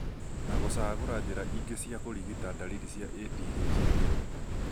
na gũcagũra njĩra ingĩ cia kũrigita ndariri za ADHD